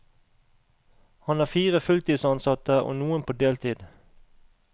Han har fire fulltids ansatte og noen på deltid.